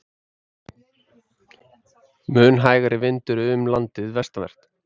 Mun hægari vindur umlandið vestanvert